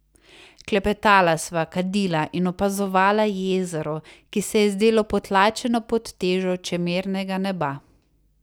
Klepetala sva, kadila in opazovala jezero, ki se je zdelo potlačeno pod težo čemernega neba.